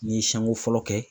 N'i ye siɲanko fɔlɔ kɛ